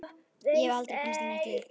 Ég hef aldrei komist í neitt lið.